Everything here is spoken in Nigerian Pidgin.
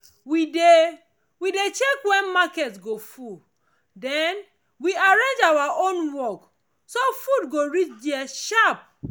we dey we dey check when market go full then we arrange our own work so food go reach there sharp.